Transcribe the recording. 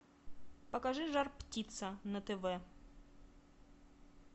покажи жар птица на тв